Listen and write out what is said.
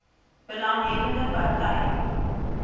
belang hebbende partye